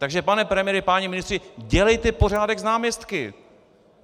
Takže pane premiére, páni ministři, dělejte pořádek s náměstky!